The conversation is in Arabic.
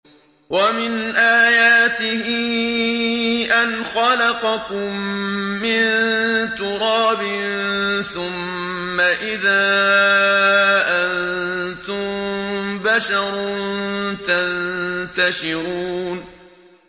وَمِنْ آيَاتِهِ أَنْ خَلَقَكُم مِّن تُرَابٍ ثُمَّ إِذَا أَنتُم بَشَرٌ تَنتَشِرُونَ